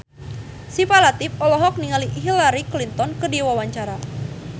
Syifa Latief olohok ningali Hillary Clinton keur diwawancara